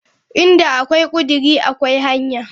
Inda akwai kudiri akwai hanya.